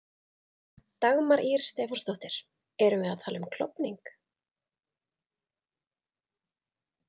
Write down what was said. Dagmar Ýr Stefánsdóttir: Erum við að tala um klofning?